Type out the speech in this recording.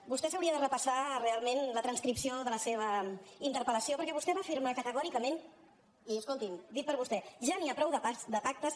vostè s’hauria de repassar realment la transcripció de la seva interpel·què vostè va afirmar categòricament i escolti’m dit per vostè ja n’hi ha prou de pactes